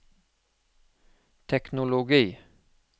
teknologi